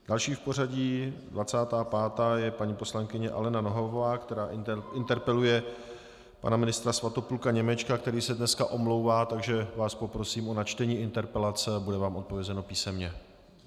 Další v pořadí, 25., je paní poslankyně Alena Nohavová, která interpeluje pana ministra Svatopluka Němečka, který se dneska omlouvá, takže vás poprosím o načtení interpelace a bude vám odpovězeno písemně.